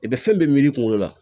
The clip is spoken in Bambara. I bɛ fɛn bɛɛ miiri kungolo la